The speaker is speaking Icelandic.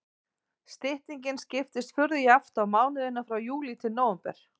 Styttingin skiptist furðu jafnt á mánuðina frá júlí til nóvember.